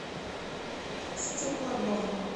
стеклодом